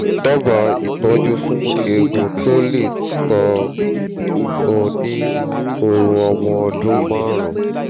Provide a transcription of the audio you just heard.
dábàá ìtọ́jú fún eegun tó lé tó ń hù ní ọrùn ọmọ ọdún márùn-ún